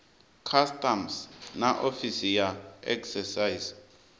customs na ofisi ya excise